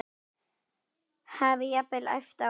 Hafi jafnvel æpt á þá.